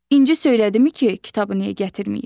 İnci söylədimi ki, kitabı niyə gətirməyib?